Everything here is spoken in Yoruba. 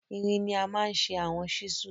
Irin ni a maa n ṣe awọn chisels